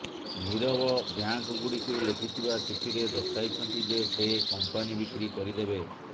ନିରବ bank ଗୁଡ଼ିକୁ ଲେଖିଥିବା ଚିଠିରେ ଦର୍ଶାଇଛନ୍ତି ଯେ ସେ କମ୍ପାନି ବିକ୍ରି କରିଦେବେ